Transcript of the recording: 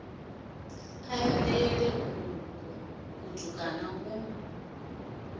a lele uku kutukana ku